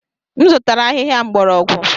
M zụtara ahịhịa mgbọrọgwụ.